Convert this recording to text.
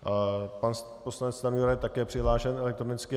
Pan poslanec Stanjura je také přihlášen elektronicky.